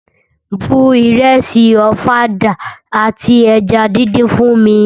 Bu ìrẹsì ọ̀fadà àti eja díndín fún mi!